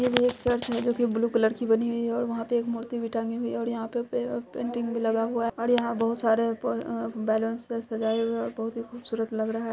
ये भी एक चर्च है जो कि ब्लू कलर की बनी हुई है और वहाँ पे एक मूर्ति भी टंगी हुई है और यहाँ पे पे--पेंटिंग भी लगा हुआ है और यहाँ बहोत सारे प अ- बैलून से सजाये हुए है और बहोत ही खूबसूरत लग रहा है।